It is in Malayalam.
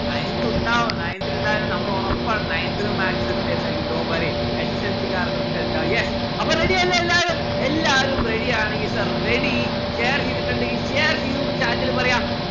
nineth ഉണ്ടാവോ nineth ല് ഇണ്ടായത് നമ്മളോറപ്പാണ് nineth ലും maths എടുത്തെറിനെങ്കിൽ dont worrySSLC കാർക്കൊക്കെ ഇണ്ടാവും yes അപ്പോ ready അല്ലെ എല്ലാവരും? എല്ലാവരും ready ആണെങ്കിൽ sir ready share ചെയ്തിട്ടിണ്ടെങ്കിൽ share ചെയ്തുന്ന്‌ chat ല് പറയാ